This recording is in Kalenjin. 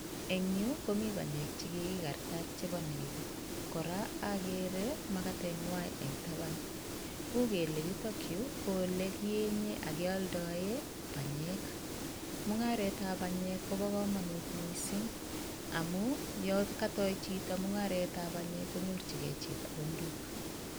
Eng' yu komii panyek chekigi kartat chepo nego koraa agere makatet ng'way eng tapan u'gele yutok yu ko ole kienyee akealdoe panyek, mung'aret ab panyek kopa komanut mising' amun yo katou chito mung'aret ab panyek konyorchigei chepkondok.